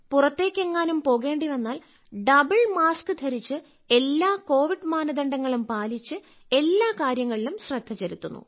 പുറത്തേക്കെങ്ങാനും പോകേണ്ടി വന്നാൽ double mask ധരിച്ച് എല്ലാ കോവിഡ് മാനദണ്ഡങ്ങളും പാലിച്ച് എല്ലാ കാര്യങ്ങളിലും ശ്രദ്ധ ചെലുത്തുന്നു